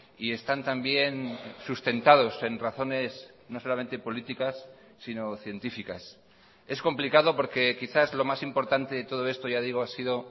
y están también sustentados en razones no solamente políticas sino científicas es complicado porque quizás lo más importante de todo esto ya digo ha sido